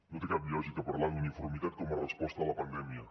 no té cap lògica parlar d’uniformitat com a resposta a la pandèmia